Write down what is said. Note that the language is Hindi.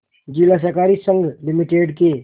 जिला सहकारी संघ लिमिटेड के